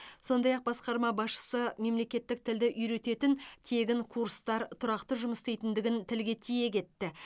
сондай ақ басқарма басшысы мемлекеттік тілді үйрететін тегін курстар тұрақты жұмыс істейтіндігін тілге тиек етті